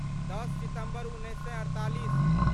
दस सितम्बर उन्नैस सए अड़तालीस